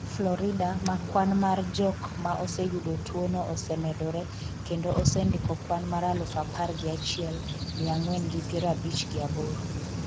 florida, ma kwan mar jok ma oseyudo tuwo no osemedore, kendo osendiko kwan mar aluf apar gi achiel, miya ang'wen gi piero abich gi aboro